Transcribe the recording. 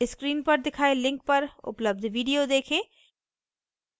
screen पर दिखाए link पर उपलब्ध video देखें